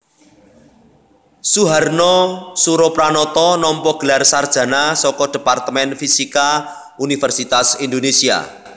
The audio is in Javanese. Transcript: Suharna Surapranata nampa gelar sarjana saka Departemen Fisika Universitas Indonésia